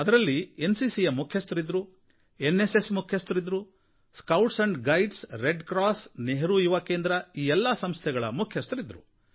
ಇದರಲ್ಲಿ N C C ಯ ಮುಖ್ಯಸ್ಥರಿದ್ದರು ಎನ್ ಎಸ್ ಎಸ್ ಮುಖ್ಯಸ್ಥರಿದ್ದರು scouts and guides red cross Nehru Yuva Kendra ಈ ಎಲ್ಲ ಸಂಸ್ಥೆಗಳ ಮುಖ್ಯಸ್ಥರಿದ್ರು